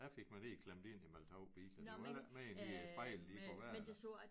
Jeg fik mig lige klemt ind imellem 2 biler det var ikke meget de der spejle de kunne være der